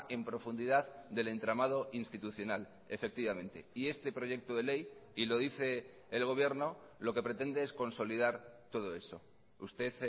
en profundidad del entramado institucional efectivamente y este proyecto de ley y lo dice el gobierno lo que pretende es consolidar todo eso usted